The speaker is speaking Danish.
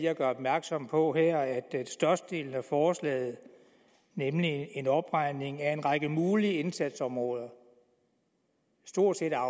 at gøre opmærksom på at størstedelen af forslaget nemlig en opregning af en række mulige indsatsområder stort set er